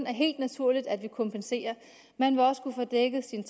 er helt naturligt at vi kompenserer man vil også kunne få dækket sine